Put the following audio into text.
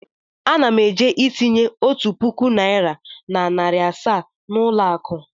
Ana m eje itinye otu puku naịra na narị asaa na ụlọ akụ.